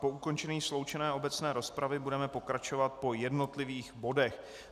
Po ukončení sloučené obecné rozpravy budeme pokračovat po jednotlivých bodech.